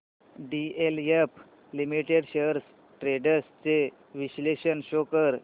DLF limited shares trends चे विश्लेषण show कर